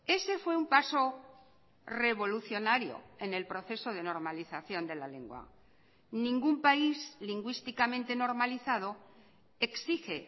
ese fue un paso revolucionario en el proceso de normalización de la lengua ningún país lingüísticamente normalizado exige